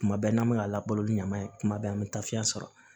Kuma bɛɛ n'an bɛ ka labalo ni ɲaman ye tuma bɛɛ an bɛ taa fiyɛn sɔrɔ